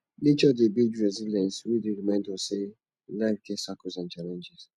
nature dey build resilience wey dey remind us sey life get cycles and challenges